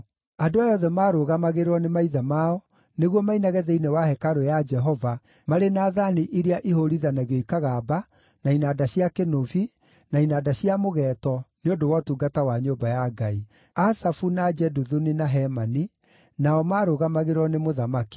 Andũ aya othe maarũgamagĩrĩrwo nĩ maithe mao nĩguo mainage thĩinĩ wa hekarũ ya Jehova, marĩ na thaani iria ihũũrithanagio ikagamba, na inanda cia kĩnũbi, na inanda cia mũgeeto, nĩ ũndũ wa ũtungata wa nyũmba ya Ngai. Asafu, na Jeduthuni, na Hemani nao maarũgamagĩrĩrwo nĩ mũthamaki.